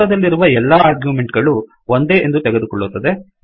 ಕಂಸದಲ್ಲಿರುವ ಎಲ್ಲಾ ಆರ್ಗ್ಯುಮೆಂಟ್ ಗಳೂ ಒಂದೇ ಎಂದು ತೆಗೆದುಕೊಳ್ಳುತ್ತದೆ